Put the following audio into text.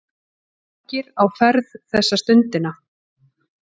Margir á ferð þessa stundina.